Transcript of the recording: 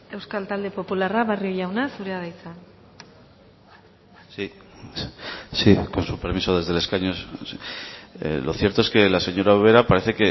euskal talde popularra barrio jauna zurea da hitza sí sí con su permiso desde el escaño lo cierto es que la señora ubera parece